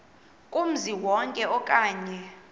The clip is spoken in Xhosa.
kumzi wonke okanye